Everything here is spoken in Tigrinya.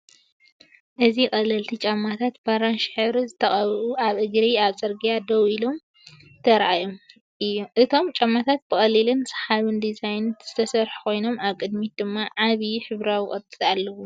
እዚ ቀለልቲ ጫማታት፡ ብኣራንሺ ሕብሪ ዝተቐብኡ፡ ኣብ እግሪ ኣብ ጽርግያ ደው ኢሎም ተራእዮም። እቶም ጫማታት ብቐሊልን ሰሓብን ዲዛይን ዝተሰርሑ ኮይኖም፡ ኣብ ቅድሚት ድማ ዓቢ ሕብራዊ ቅርጺ ኣለዎም።